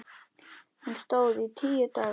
Hún stóð í tíu daga.